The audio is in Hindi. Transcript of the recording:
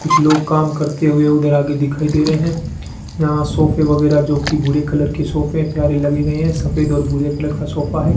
कुछ लोग काम करते हुए उधर आगे दिखाई दे रहे हैं यहाँ सोफे वगैरा जोकि भूरे कलर का सोफे प्यारे लग रहे हैं सफेद और भूरे कलर का सोफा हैं।